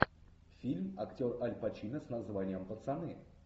фильм актер аль пачино с названием пацаны